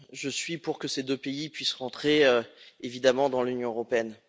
Je suis pour que ces deux pays puissent rentrer évidemment dans l'Union européenne.